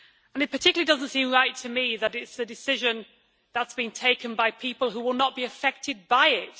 In particular, it does not seem right to me that it is a decision that has been taken by people who will not be affected by it.